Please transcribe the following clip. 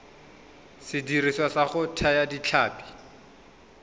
sediriswa sa go thaya ditlhapi